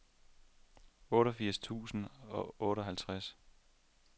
otteogfirs tusind og otteoghalvtreds